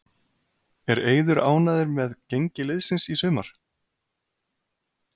Er Eiður ánægður með gengi liðsins í sumar?